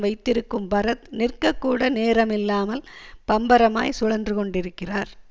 வைத்திருக்கும் பரத் நிற்ககூட நேரமில்லாமல் பம்பரமாய் சுழன்று கொண்டிருக்கிறார்